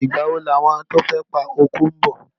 Ìgbà wo ni àwọn tí o fẹ́ pa oko ńbọ̀.